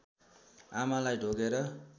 आमालाई ढोगेर